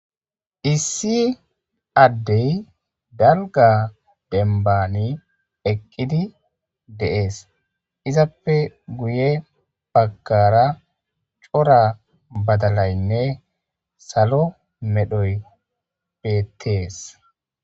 Issi addey dalga denbani eqqidi deees izappe guye baggara cora badalaynne salo medhoy bettees.